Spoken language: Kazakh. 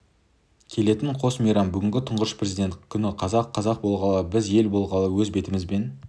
келетін қос мейрам бүгінгі тұңғыш президент күні қазақ қазақ болғалы біз ел болғалы өз бетімізбен